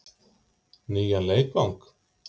Nýjan leikvang?